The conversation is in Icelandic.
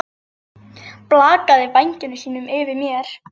Blakar vængjum sínum yfir mér.